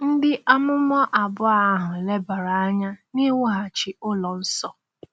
Ndị amụma abụọ ahụ lebara anya n’iwughachi ụlọ nsọ.